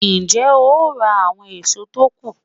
Ń jẹ́ ó ra àwọn èso tó kù